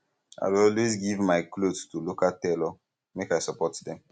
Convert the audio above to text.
i dey always give my um cloth to local tailor make i support them